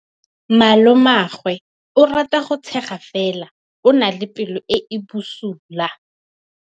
Malomagwe o rata go tshega fela o na le pelo e e bosula.